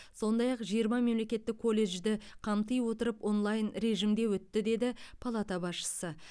сондай ақ жиырма мемлекеттік колледжді қамти отырып онлайн режимде өтті деді палата басшысы